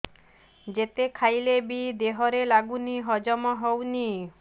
ଯେତେ ଖାଇଲେ ବି ଦେହରେ ଲାଗୁନି ହଜମ ହଉନି